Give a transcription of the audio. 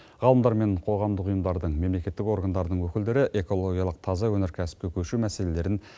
ғалымдар мен қоғамдық ұйымдардың мемлекеттік органдардың өкілдері экологиялық таза өнеркәсіпке көшу мәселелерін